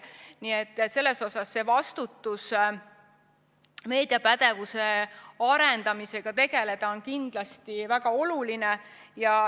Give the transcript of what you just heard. Nii et selles suhtes vastutus meediapädevuse arendamisega tegeleda on kindlasti väga oluline.